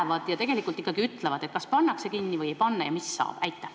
Mida nad tegelikult ikkagi ütlevad: kas pannakse õppekava kinni või ei panda?